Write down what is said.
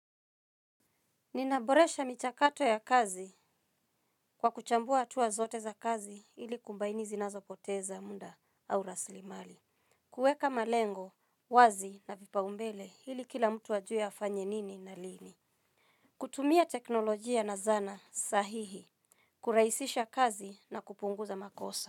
Ninaboresha michakato ya kazi kwa kuchambua hatua zote za kazi ili kubaini zinazopoteza muda au rasilimali. Kuweka malengo, wazi na vipaumbele ili kila mtu ajue afanye nini na lini. Kutumia teknolojia na zana sahihi. Kuraisisha kazi na kupunguza makosa.